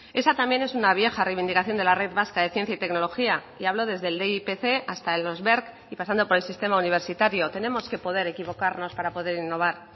esa también es una vieja reivindicación de la red vasca de ciencia y tecnología y hablo desde el hasta los y pasando por el sistema universitario tenemos que poder equivocarnos para poder innovar